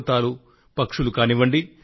పశువులు పర్వతాలు పక్షులు కానివ్వండి